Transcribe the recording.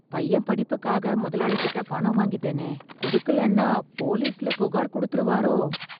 பையன் படிப்புக்காக முதலாளிகிட்ட பணம் வாங்கிட்டேனே, குடுக்கலன்னா போலிஸ்ல புகார் குடுத்துருவாரோ?